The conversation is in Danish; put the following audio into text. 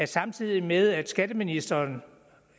samtidig med at skatteministeren